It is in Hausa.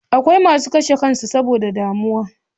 Akwai masu karshe kansu saboda damuwa